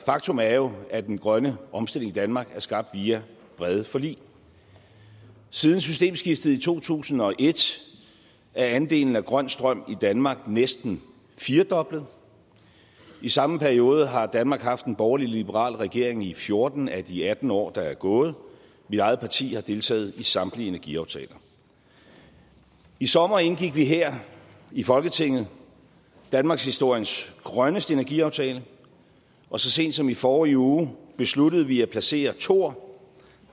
faktum er jo at den grønne omstilling i danmark er skabt via brede forlig siden systemskiftet i to tusind og et er andelen af grøn strøm i danmark næsten firedoblet i samme periode har danmark haft en borgerlig liberal regering i fjorten af de atten år der er gået mit eget parti har deltaget i samtlige energiaftaler i sommer indgik vi her i folketinget danmarkshistoriens grønneste energiaftale og så sent som i forrige uge besluttede vi at placere thor